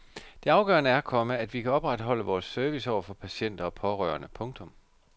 Det afgørende er, komma at vi kan opretholde vores service over for patienter og pårørende. punktum